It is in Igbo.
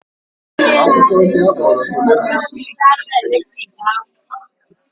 Akụkọ ndị akpọrọ celebrity n'olu bekee na-ewu ugbua